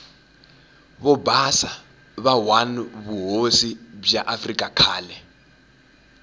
vobhasa va one vuhhosi bwa afrika khale